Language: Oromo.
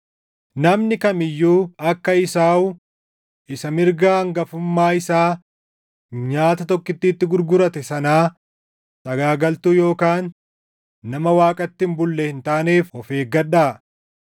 Namni kam iyyuu akka Esaawu isa mirga hangafummaa isaa nyaata tokkittiitti gurgurate sanaa sagaagaltuu yookaan nama Waaqatti hin bulle hin taaneef of eeggadhaa.